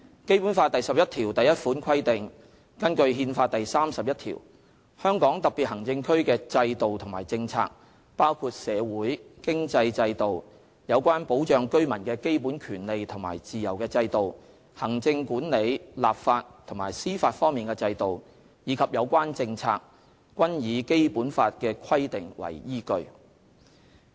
"《基本法》第十一條第一款規定，根據《憲法》第三十一條，香港特別行政區的制度和政策，包括社會、經濟制度，有關保障居民的基本權利和自由的制度，行政管理、立法和司法方面的制度，以及有關政策，均以《基本法》的規定為依據。